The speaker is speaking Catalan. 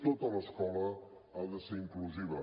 tota l’escola ha de ser inclusiva